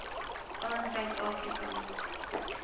aan suid afrika